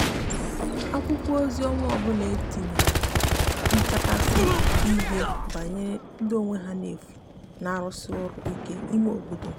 akwụkwo ozi onwa ọbụla tinyere nchakwasi ihie gbanyere ndi n'enye onwe ha n'efu n'arusi ọru ike ime obodo